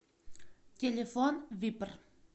телефон випр